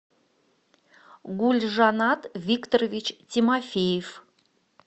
гульжанат викторович тимофеев